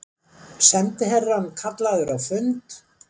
Sendiherrann kallaður á fund